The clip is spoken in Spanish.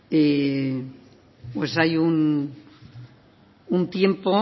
pues hay un tiempo